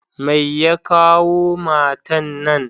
Mai ya kawo matan na?